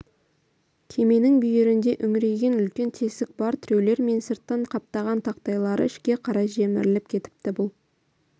кеменің бүйірінде үңірейген үлкен тесік бар тіреулері мен сыртын қаптаған тақтайлары ішке қарай жеміріліп кетіпті бұл